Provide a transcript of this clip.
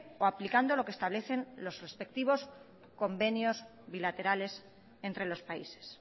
o aplicando lo que establecen los respectivos convenios bilaterales entre los países